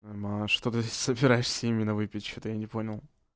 а что ты собираешься имена выпить что-то я не понял